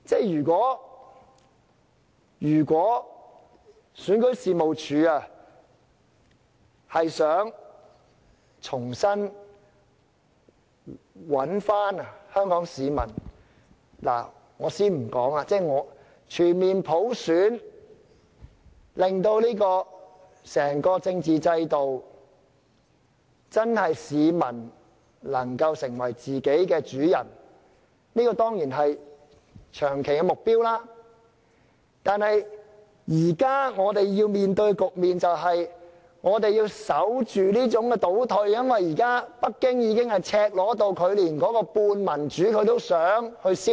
如果選舉事務處想重新挽回香港市民的信心，我且不說實行全面普選，令整個政治制度容許市民真正成為自己的主人，這當然是長期目標，但現在我們要面對的局面是，我們要守住這種倒退，因為現在北京已經赤裸到連半點民主都想消滅。